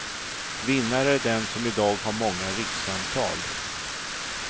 Vinnare är den som i dag har många rikssamtal.